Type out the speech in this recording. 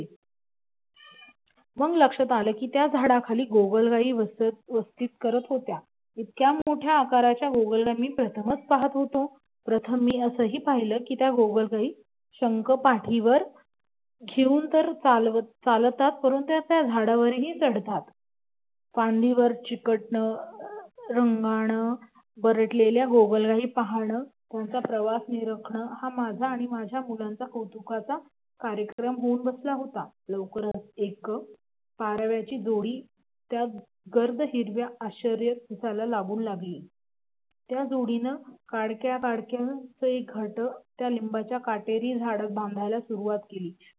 पारव्याची जोडी त्या गार्ड हिरव्या आश्रयात दिलासा शोधू लागली. त्या जोडीनं काडक्या बडक्याच एक घरटं त्या लिंबाच्या काटेरी झाडात बांधायला सुरवात केली